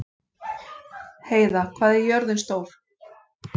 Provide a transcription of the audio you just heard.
Heiða, hvað er jörðin stór?